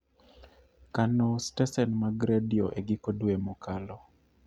kano stesen mag redio e giko dwe mokalo